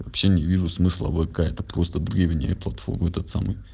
вообще не вижу смысла в вк это просто древние платформы этот самый